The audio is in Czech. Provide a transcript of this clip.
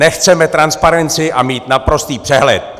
Nechceme transparenci a mít naprostý přehled.